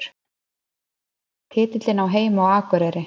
Titillinn á heima á Akureyri